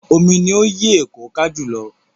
Omi ni ó yí Èkó ká jù lọ.